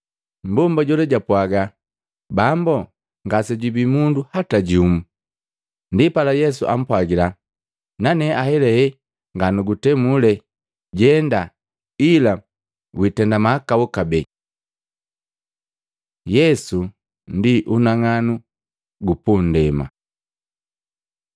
Mbomba jola japwaaga, “Bambo, ngasejubi mundo hata jumu.” Ndipala Yesu ampwagila, “Nane ahelahe nganugutemule. Jenda ila witenda mahakau kabee.” Yesu ndi unang'anu gu pundema